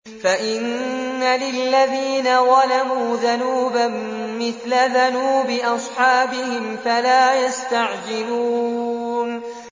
فَإِنَّ لِلَّذِينَ ظَلَمُوا ذَنُوبًا مِّثْلَ ذَنُوبِ أَصْحَابِهِمْ فَلَا يَسْتَعْجِلُونِ